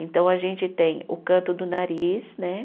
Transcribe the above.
Então, a gente tem o canto do nariz, né?